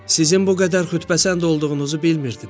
Sizin bu qədər xütbəsənd olduğunuzu bilmirdim.